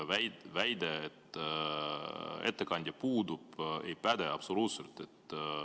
Väide, et ettekandja puudub, ei päde absoluutselt.